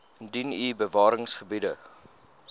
indien u bewaringsgebiede